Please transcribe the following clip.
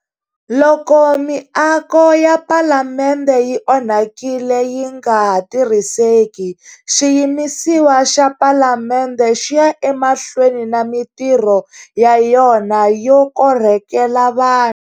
Loko miako ya Palamende yi onhakile yi nga ha tirhiseki, xiyimisiwa xa Palamende xi ya emahlweni na mitirho ya yona yo korhokela vanhu.